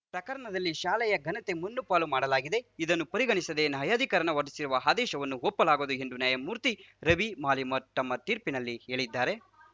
ಪ್ರಕರಣದಲ್ಲಿ ಶಾಲೆಯ ಘನತೆ ಮಣ್ಣುಪಾಲು ಮಾಡಲಾಗಿದೆ ಇದನ್ನು ಪರಿಗಣಿಸದೆ ನ್ಯಾಯಾಧಿಕರಣ ಹೊರಡಿಸಿರುವ ಆದೇಶವನ್ನು ಒಪ್ಪಲಾಗದು ಎಂದು ನ್ಯಾಯಮೂರ್ತಿ ರವಿ ಮಳಿಮಠ್‌ ತಮ್ಮ ತೀರ್ಪಿನಲ್ಲಿ ಹೇಳಿದ್ದಾರೆ